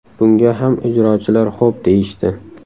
Bunga ham ijrochilar xo‘p deyishdi.